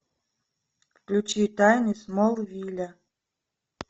включи тайны смолвиля